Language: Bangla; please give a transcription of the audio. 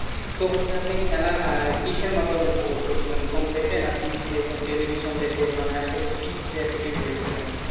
তো হচ্ছে আপনি খেলা আহ কিসের মাধ্যমে উপভোগ করছিলেন ফোন থেকে না কি টেলিভিশন থেকে মানে আসলে কি থেকে আর কি TV দেখছিলেন